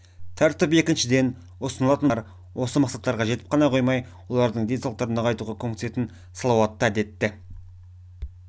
тәртіп екіншіден ұсынылатын бағдарламалар осы мақсаттарға жетіп ғана қоймай олардың денсаулықтарын нығайтуға көмектесетіндей салауатты әдетті